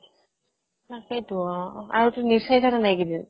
তাকেইতো অ আৰুতো news চাইছা নে নাই এইকেইদিন